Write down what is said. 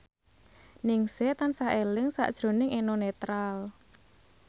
Ningsih tansah eling sakjroning Eno Netral